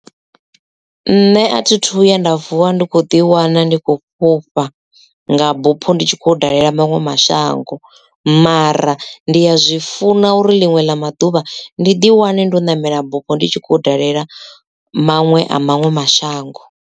Nṋe a thi thu vhuya nda vuwa ndi kho ḓi wana ndi khou fhufha nga bupho ndi tshi khou dalela maṅwe mashango mara ndi ya zwi funa uri liṅwe ḽa maḓuvha ndi ḓi wane ndo ṋamela bupho ndi tshi khou dalela manwe a maṅwe mashango.